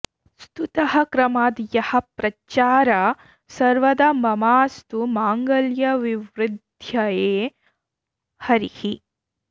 स्तुतः क्रमाद् यः प्रच्चार सर्वदा ममास्तु माङ्गल्यविवृद्धये हरिः